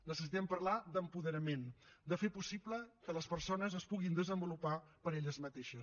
necessitem parlar d’apoderament de fer possible que les persones es puguin desenvolupar per elles mateixes